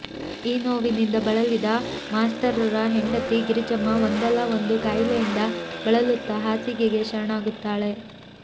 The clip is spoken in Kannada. ಈ ನೋವಿನಿಂದ ಬಳಲಿದ ಮಾಸ್ತರ್ರರ ಹೆಂಡತಿ ಗಿರಿಜಮ್ಮ ಒಂದಲ್ಲಾ ಒಂದು ಕಾಯಿಲೆಯಿಂದ ಬಳಲುತ್ತಾ ಹಾಸಿಗೆಗೆ ಶರಣಾಗುತ್ತಾಳೆ